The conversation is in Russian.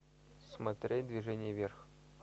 смотреть движение вверх